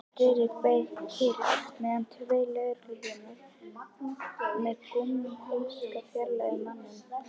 Friðrik beið kyrr meðan tveir lögregluþjónar með gúmmíhanska fjarlægðu manninn.